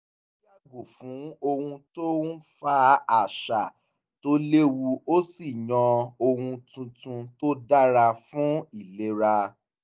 ó yàgò fún ohun tó ń fa àṣà tó lewu ó sì yàn ohun tuntun tó dára fún ìlera